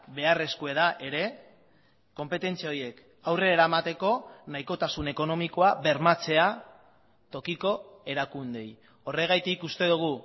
beharrezkoa da ere konpetentzia horiek aurre eramateko nahikotasun ekonomikoa bermatzea tokiko erakundeei horregatik uste dugu